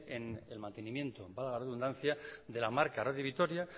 en mantenimiento valga la redundancia de la marca radio vitoria